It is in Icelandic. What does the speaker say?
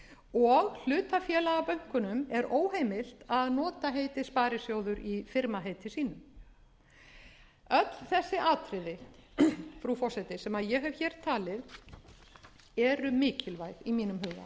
og hlutafélagabönkunum er óheimilt að nota heitið sparisjóður í firmaheiti sínu öll þessi atriði frú forseti sem ég hef hér talið eru mikilvæg í mínum huga þá er ótalið ákvæðið sem var í upphaflegu sjöundu